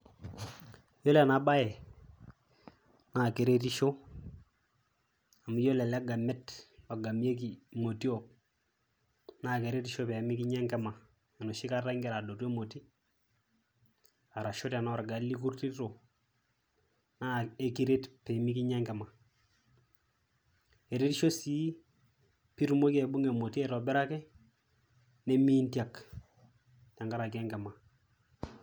Iyiolo ena baye naa keretisho amu iyiolo ele gamet ogamieki imotiok naake eretisho pee mekinya enkima enoshi kata ing'ira adoto emoti arashu tenaa orgali ikurtito naa kekiret pee mekinya enkima. Eretisho sii piitumoki aibung'a emoti aitobiraki nemiintiak tenkaraki enkima.